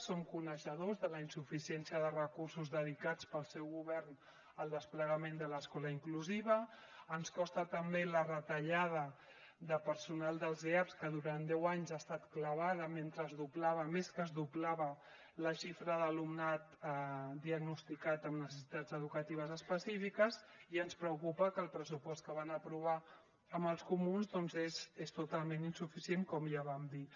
som coneixedors de la insuficiència de recursos dedicats pel seu govern al desplegament de l’escola inclusiva ens consta també la retallada de personal dels eaps que durant deu anys ha estat clavada mentre es doblava més que es doblava la xifra d’alumnat diagnosticat amb necessitats educatives específiques i ens preocupa que el pressupost que van aprovar amb els comuns doncs és totalment insuficient com ja vam dir